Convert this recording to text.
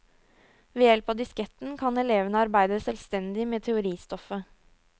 Ved hjelp av disketten kan elevene arbeide selvstendig med teoristoffet.